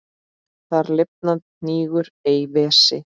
Þar lifandi hnígur ei vessi.